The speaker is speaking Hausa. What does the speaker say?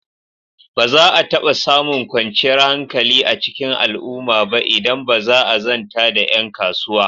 Ba za a taɓa samun kwanciyar hankali a cikin al'umma ba idan ba a zanta da ƴan kasuwa.